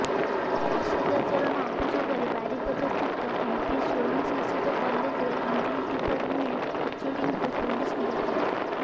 ଅସଦାଚରଣ ଅଭିଯୋଗରେ ବାରିପଦା ସ୍ଥିତ ଏମ୍ପିସି ସ୍ୱୟଂଶାସିତ କଲେଜର ଇଂଲିଶ ଡିପାର୍ଟମେଣ୍ଟ୍ର ଏଚ୍ଓଡିଙ୍କୁ ପୁଲିସ୍ ଗିରଫ କରିଛି